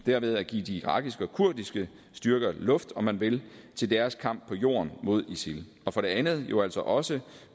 derved at give de irakiske og kurdiske styrker luft om man vil til deres kamp på jorden mod isil og for det andet jo altså også